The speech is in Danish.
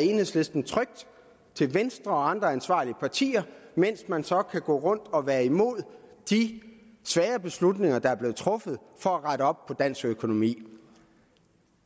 enhedslisten trygt til venstre og andre ansvarlige partier mens man så kan gå rundt og være imod de svære beslutninger der er blevet truffet for at rette op på dansk økonomi